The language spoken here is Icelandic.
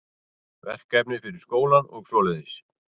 Verkefni fyrir skólann og svoleiðis.